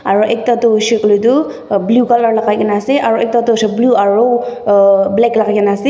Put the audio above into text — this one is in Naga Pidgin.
aro ekta toh hoishe koile toh blue color lagai kena ase aro ekta toh blue aro black lagai kena ase.